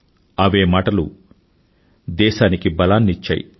అవే మాటలు దేశ ధైర్యానికి బలాన్ని ఇచ్చాయి